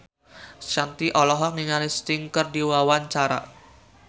Shanti olohok ningali Sting keur diwawancara